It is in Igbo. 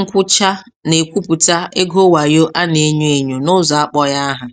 nkwụcha na-ekwuputa ego wayo a na-enyo enyo n'ụzọ akpọghị aha.